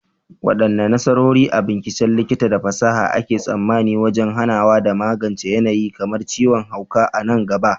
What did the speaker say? Wadanne nasarori a binciken likita da fasaha ake tsammanin wajen hanawa da magance yanayi kamar ciwon hauka a nan gaba?